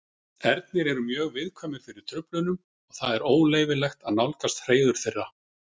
Ernir eru mjög viðkvæmir fyrir truflunum og það er óleyfilegt að nálgast hreiður þeirra.